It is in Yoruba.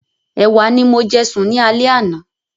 Ẹ̀wà ni mo jẹ sùn ní alẹ́ àná.